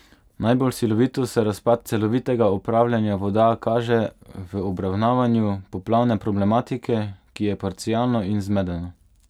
Najbolj silovito se razpad celovitega upravljanja voda kaže v obravnavanju poplavne problematike, ki je parcialno in zmedeno.